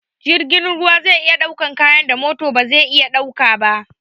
Jirgin ruwa zai iya ɗaukan kayan da mota ba zai iya ɗaukawa ba